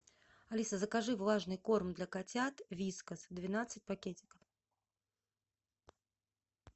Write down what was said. алиса закажи влажный корм для котят вискас двенадцать пакетиков